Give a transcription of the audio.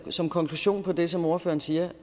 som konklusion på det som ordføreren siger